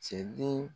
Cɛ den